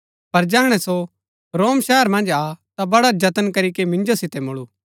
पर जैहणै सो रोम शहर मन्ज आ ता बड़ा ज‍तन करीके मिंजो सितै मुळु